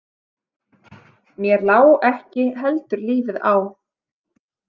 Mér lá ekki heldur lífið á.